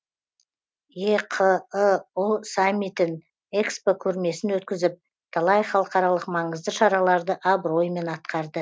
еқыұ саммитін экспо көрмесін өткізіп талай халықаралық маңызды шараларды абыроймен атқарды